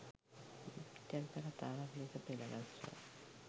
චරිත කතාවක් ලෙස පෙළගස්වා